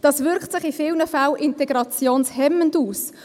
Das wirkt sich in vielen Fällen integrationshemmend aus.